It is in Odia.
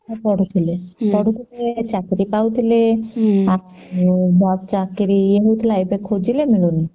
ପଢୁଥିଲେ ପଢୁଥିଲେ ଚାକିରୀ ପାଉଥିଲେ ଆଉ ଭଲ ଚାକିରୀ ପାଉଥିଲେ ଏବେ ଖୋଜିଲେ ମିଳୁନି